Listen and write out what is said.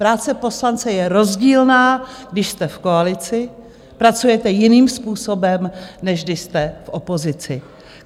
Práce poslance je rozdílná, když jste v koalici, pracujete jiným způsobem, než když jste v opozici.